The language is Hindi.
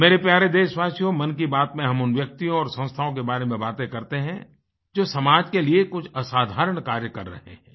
मेरे प्यारे देशवासियो मन की बात में हम उन व्यक्तियों और संस्थाओं के बारें में बाते करते हैं जो समाज के लिए कुछ असाधारण कार्य कर रहेहैं